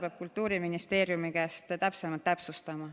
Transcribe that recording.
Seda peab Kultuuriministeeriumist täpsustama.